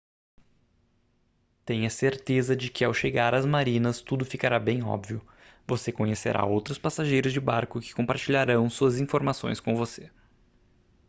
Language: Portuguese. tenha certeza de que ao chegar às marinas tudo ficará bem óbvio você conhecerá outros passageiros de barco que compartilharão suas informações com você